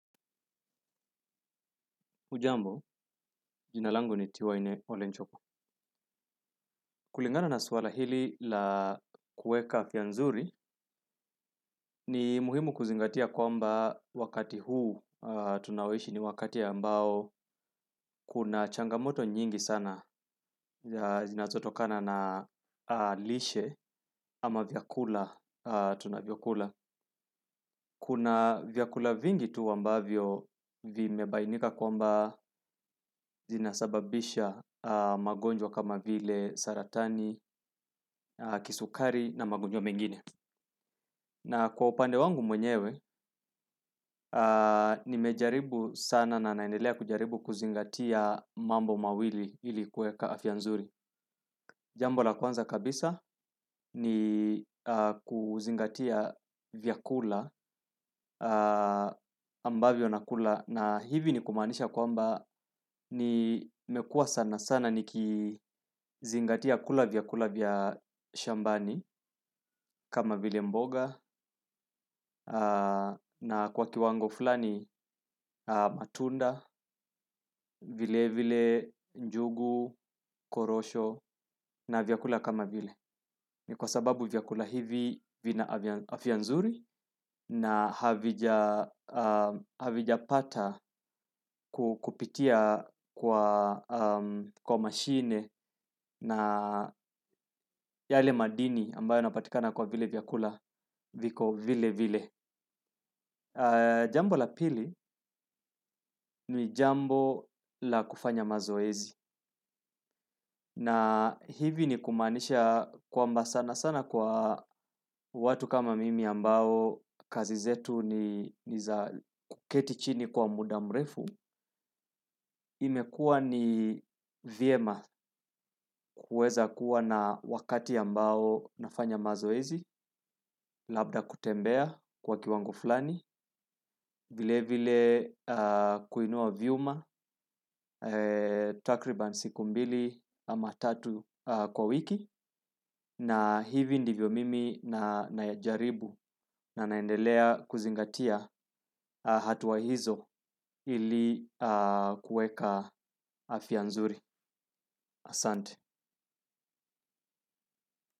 Hujambo, jina langu ni Tiwaine Olenchoko. Kulingana na swala hili la kuweka afya nzuri ni muhimu kuzingatia kwamba wakati huu tunaoishi ni wakati ambao kuna changamoto nyingi sana zinazotokana na lishe ama vyakula tunavyokula. Kuna vyakula vingi tu ambavyo vimebainika kwamba zinasababisha magonjwa kama vile saratani, kisukari na magonjwa mengine. Na kwa upande wangu mwenyewe nimejaribu sana na naendelea kujaribu kuzingatia mambo mawili ili kuweka afya nzuri. Jambo la kwanza kabisa ni kuzingatia vyakula ambavyo nakula na hivi ni kumanisha kwamba nimekuwa sana sana nikizingatia kula vyakula vya shambani kama vile mboga na kwa kiwango fulani matunda, vile vile, njugu, korosho na vyakula kama vile. Ni kwa sababu vyakula hivi vina afya nzuri na havijapata kupitia kwa mashine na yale madini ambayo yanapatikana kwa vile madini viko vilevile. Jambo la pili ni jambo la kufanya mazoezi. Na hivi ni kumaanisha kwamba sana sana kwa watu kama mimi ambao kazi zetu ni za kuketi chini kwa muda mrefu. Imekuwa ni vyema kuweza kuwa na wakati ambao nafanya mazoezi. Labda kutembea kwa kiwango fulani. Vile vile kuinua vyuma. Takriban siku mbili ama tatu kwa wiki. Na hivi ndivyo mimi najaribu. Na naendelea kuzingatia hatua hizo ili kuweka afya nzuri. Asante.